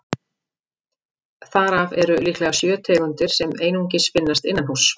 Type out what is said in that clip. Þar af eru líklega sjö tegundir sem einungis finnast innanhúss.